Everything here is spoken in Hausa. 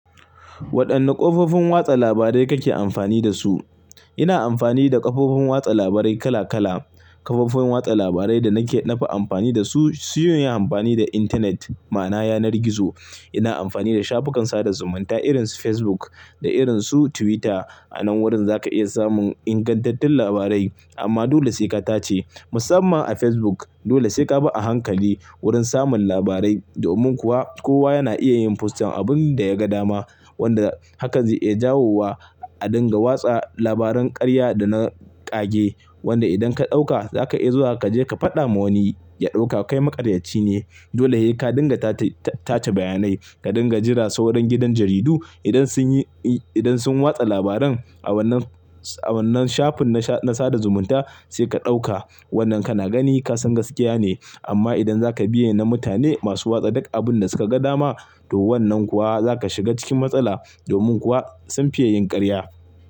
Waɗanne ƙofofin watsa labarai kake amfani da su? Ina amfani da ƙofofin watsa labarai kala kala. Kafofin watsa labarai da nake da na fi amfani da su, siyon yi amfani da intanet ma'ana yanar gizo. Ina amfani da shafukan sada zumunta irin su Facebook da irin su Twitter. A nan wurin za ka iya samun ingantattun labarai amma dole sai ka tace. Musamman a Facebook dole sai ka bi a hankali wurin samun labarai. Domin kuwa kowa yana iya yin posting abunda ya ga dama wanda hakan zai iya jawo wa a dinga watsa labaran karya da na ƙage. Wanda idan ka ɗauka za ka iya zuwa kaje ka faɗa ma wani ya ɗauka kai maƙaryaci ne. Dole sai ka dinga tace bayanai, ka dinga jira sauran gidan jaridu idan sun yi, idan sun watsa labaran a wannan, a wannan shafin na sada zumunta sai ka ɗauka. Wannan kana gani kasan gaskiya ne amma idan zaka biye na mutane masu watsa duk abunda suka ga dama to wannan kuwa zaka shiga cikin matsala. Domin kuwa sun fiye yin karya.